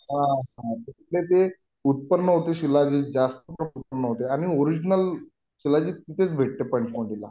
हा तिथे ते उत्पन्न होते शिलाजित जास्त उत्पन्न होते आणि ओरिजनल शिलाजीत तेथेच भेटते पंचमढीला